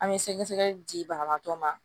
An bɛ sɛgɛsɛgɛli di banabaatɔ ma